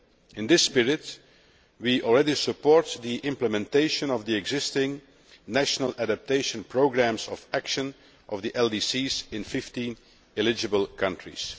In this spirit, we already support the implementation of the existing national adaptation programmes of action of LDCs in 15 eligible countries.